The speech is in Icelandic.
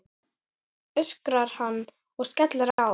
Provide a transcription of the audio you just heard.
öskrar hann og skellir á.